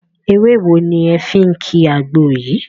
Ewé wo ni ẹ̀ fí ń ki àgbo yí?